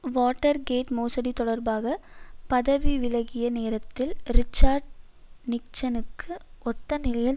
Watergate மோசடி தொடர்பாக பதவி விலகிய நேரத்தில் ரிச்சர்ட் நிக்சனுக்கு ஒத்த நிலையில்